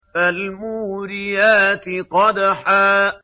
فَالْمُورِيَاتِ قَدْحًا